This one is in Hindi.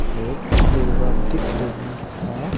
एक टेबल दिख रही है।